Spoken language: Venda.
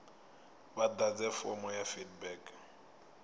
vha ḓadze fomo ya feedback